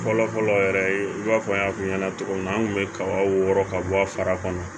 Fɔlɔ fɔlɔ yɛrɛ i b'a fɔ n y'a f'i ɲɛna cogo min na an kun bɛ kaba wɔɔrɔ ka bɔ a fara kɔnɔ